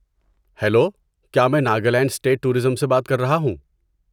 Hello! کیا میں Nagaland state tourism سے بات کر رہا ہوں؟